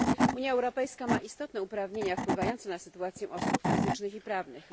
Unia Europejska ma istotne uprawnienia wpływające na sytuację osób fizycznych i prawnych.